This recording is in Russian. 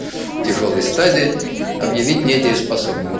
тяжёлой стадии объявить недееспособными